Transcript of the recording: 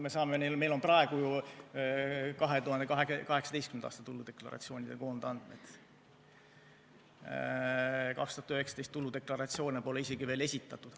Meil on praegu ju 2018. aasta tuludeklaratsioonide koondandmed, 2019. aasta tuludeklaratsioone pole isegi veel esitatud.